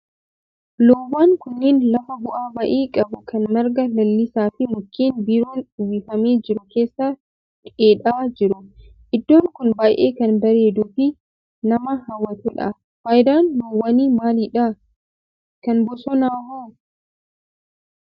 Loowwan kunneen lafa bu'aa ba'ii qabu kan marga lalisaa fi mukkeen biroon uwwifamee jiru keessa dheedaa jiru. Iddoon kun baayyee kan bareeduu fi nama hawwatudha. Faayidaan loowwanii maalidha? Kan bosonaa hoo?